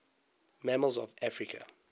mammals of africa